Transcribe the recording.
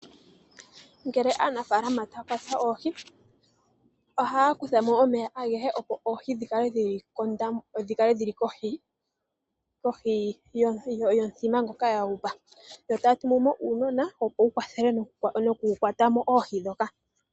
Ngele aanafaalama taya kwata oohi, ohaya kuthamo omeya agehe opo oohi dhikale dhili kohi yomuthima ngoka yahupa, yo taya tumumo uunona opo wukwathele okukwata mo oohi ndhoka.